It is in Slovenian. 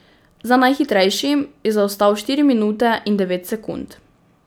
Za najhitrejšim je zaostal štiri minute in devet sekund.